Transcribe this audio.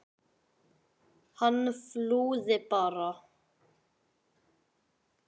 Hann flúði bara!